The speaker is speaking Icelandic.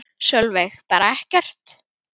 Sólveig: Bara ekkert?